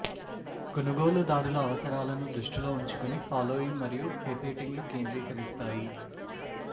కొనుగోలుదారుల అవసరాలను దృష్టిలో ఉంచుకొని ఫాలోయింగ్ మరియు ఫెఫేటింగ్ లు కేంద్రీకరిస్తాయి